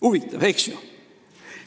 Huvitav, eks ju?